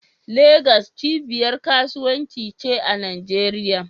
Legas cibiyar kasuwanci ce a Najeriya